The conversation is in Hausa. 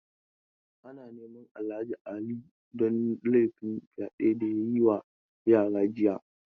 Ana neman Alhaji Ali don laifin fyade da ya yi wa yara jiya.